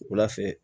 Wula fɛ